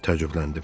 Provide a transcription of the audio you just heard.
Təəccübləndim.